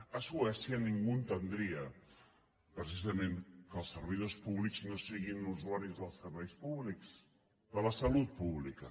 a suècia ningú entendria precisament que els servidors públics no siguin usuaris dels serveis públics de la salut pública